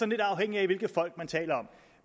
lidt afhængigt af hvilket folk man taler om